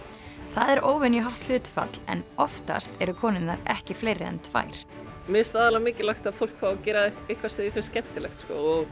það er óvenjuhátt hlutfall en oftast eru konurnar ekki fleiri en tvær mér finnst aðallega mikilvægt að fólk fái að gera eitthvað sem því finnst skemmtilegt